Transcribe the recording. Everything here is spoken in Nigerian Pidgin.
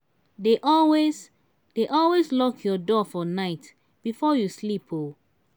dey always dey always lock your door for night before you sleep. um